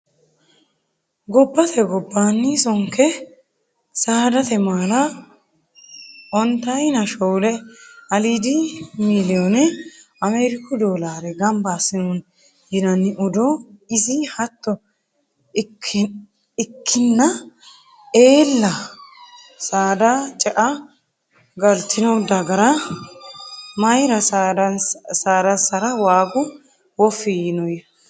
Gobbate gobbanni sonke saadate maala ontayinna shoole aliidi miiliyone Amariku dolare gamba assinonni yinanni odoo, ishi hatto ikkinna eella saada ce"e galtino dagara mayra saadasara waagu wofi yaanonna ?